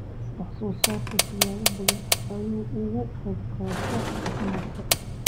wax soo saarku siyaabo badan ayuu uga qayb qaataa caafimaadka.